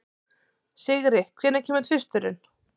Sigri, hvenær kemur tvisturinn?